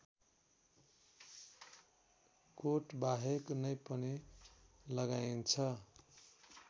कोटबाहेक नै पनि लगाइन्छ